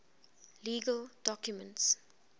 legal documents